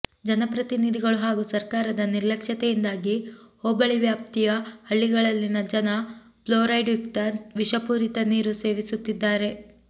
ಜನಪ್ರತಿನಿಧಿಗಳು ಹಾಗೂ ಸರ್ಕಾರದ ನಿರ್ಲಕ್ಷ್ಯತೆಯಿಂದಾಗಿ ಹೋಬಳಿ ವ್ಯಾಪ್ತಿಯ ಹಳ್ಳಿಗಳಲ್ಲಿನ ಜನ ಫ್ಲೋರೈಡ್ಯುಕ್ತ ವಿಷಪೂರಿತ ನೀರು ಸೇವಿಸುತ್ತಿದ್ದಾರೆ